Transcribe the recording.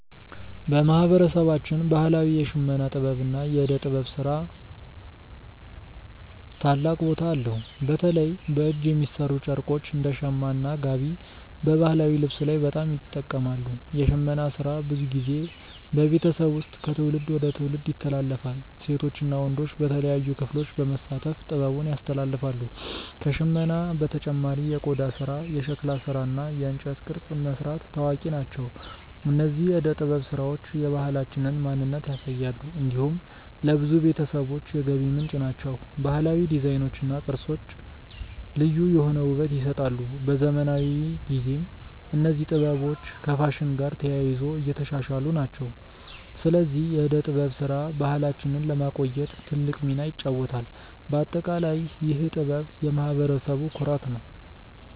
በማህበረሰባችን ባህላዊ የሽመና ጥበብ እና የእደ ጥበብ ስራ ታላቅ ቦታ አለው። በተለይ በእጅ የሚሠሩ ጨርቆች እንደ “ሸማ” እና “ጋቢ” በባህላዊ ልብስ ላይ በጣም ይጠቀማሉ። የሽመና ስራ ብዙ ጊዜ በቤተሰብ ውስጥ ከትውልድ ወደ ትውልድ ይተላለፋል። ሴቶች እና ወንዶች በተለያዩ ክፍሎች በመሳተፍ ጥበቡን ያስተላልፋሉ። ከሽመና በተጨማሪ የቆዳ ስራ፣ የሸክላ ስራ እና የእንጨት ቅርጽ መስራት ታዋቂ ናቸው። እነዚህ የእደ ጥበብ ስራዎች የባህላችንን ማንነት ያሳያሉ። እንዲሁም ለብዙ ቤተሰቦች የገቢ ምንጭ ናቸው። ባህላዊ ዲዛይኖች እና ቅርጾች ልዩ የሆነ ውበት ይሰጣሉ። በዘመናዊ ጊዜም እነዚህ ጥበቦች ከፋሽን ጋር ተያይዞ እየተሻሻሉ ናቸው። ስለዚህ የእደ ጥበብ ስራ ባህላችንን ለማቆየት ትልቅ ሚና ይጫወታል። በአጠቃላይ ይህ ጥበብ የማህበረሰቡ ኩራት ነው።